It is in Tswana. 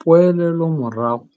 Poelelomorago